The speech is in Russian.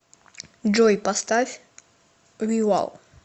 джой поставь вивал